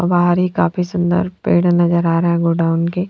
और बाहर ही काफी सुंदर पेड़ नजर आ रहा है गोडाउन के।